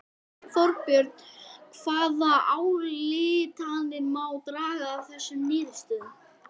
Þorbjörn hvaða ályktanir má draga af þessum niðurstöðum?